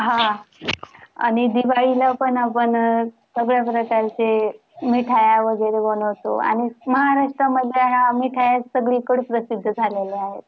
हा आणि दिवाळीला पण आपण सगळ्या प्रकारचे मिठाया वगैरे बनवतो. आणि महाराष्ट्रामधल्या ह्या मिठाया सगळीकड प्रसिद्ध झालेल्या आहे.